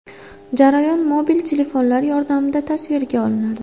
Jarayon mobil telefonlar yordamida tasvirga olinadi.